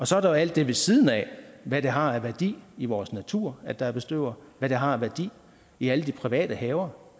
så er der jo alt det ved siden af hvad det har af værdi i vores natur at der er bestøvere hvad det har af værdi i alle de private haver